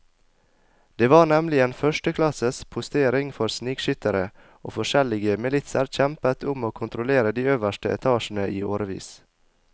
Det var nemlig en førsteklasses postering for snikskyttere, og forskjellige militser kjempet om å kontrollere de øverste etasjene i årevis.